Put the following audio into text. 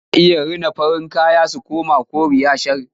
Ana iya rina farin kaya su koma koraye shar.